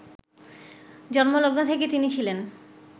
জন্মলগ্ন থেকে তিনি ছিলেন